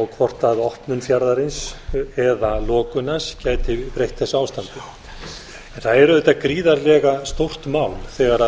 og hvort opnum fjarðarins eða lokun hans gæti breytt þessu ástandi það er auðvitað gríðarlega stórt mál þegar